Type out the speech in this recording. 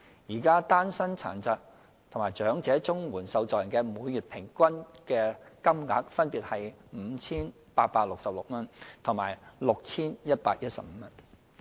現時，單身殘疾及長者綜援受助人的每月平均金額分別為 5,866 元及 6,115 元。